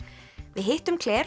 við hittum